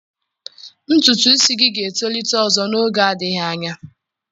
Ntutu isi gị ga-etolite ọzọ n'oge adịghị anya.